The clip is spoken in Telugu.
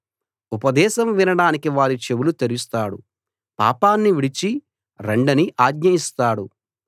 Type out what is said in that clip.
ఉపదేశం వినడానికి వారి చెవులు తెరుస్తాడు పాపాన్ని విడిచి రండని ఆజ్ఞ ఇస్తాడు